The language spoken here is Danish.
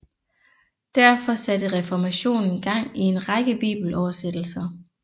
Derfor satte reformationen gang i en række bibeloversættelser